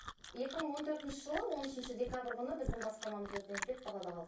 екі мың он төртінші жылы он үшінші декабрь күні біздің баспанамыз өртеніп кетіп далада қалдық